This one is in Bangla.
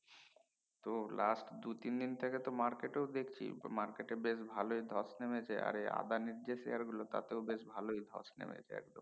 তো last দু তিন থেকে তো market দেখছি market এ বেশ ভালোই ধ্বস নেমেছে আরে আদানির যে share গুলো তাতে বেশ ধ্বস নেমেছে একদম